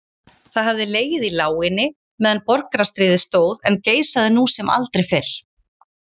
Það hafði legið í láginni meðan borgarastríðið stóð en geisaði nú sem aldrei fyrr.